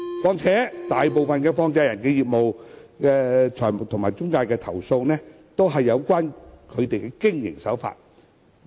況且，大部分有關放債人及財務中介的投訴，均關乎它們的經營手法。